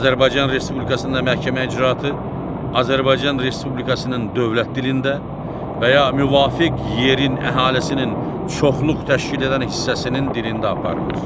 Azərbaycan Respublikasında məhkəmə icraatı Azərbaycan Respublikasının dövlət dilində və ya müvafiq yerin əhalisinin çoxluq təşkil edən hissəsinin dilində aparılır.